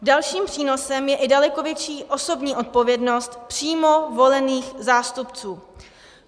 Dalším přínosem je i daleko větší osobní odpovědnost přímo volených zástupců.